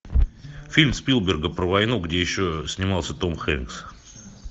фильм спилберга про войну где еще снимался том хэнкс